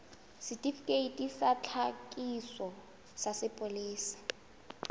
setifikeiti sa tlhakiso sa sepolesa